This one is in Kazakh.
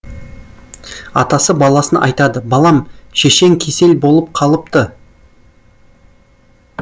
атасы баласына айтады балам шешең кесел болып қалыпты